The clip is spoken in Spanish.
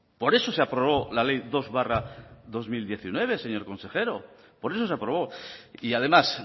por eso se aprobó la ley dos barra dos mil diecinueve señor consejero por eso se aprobó y además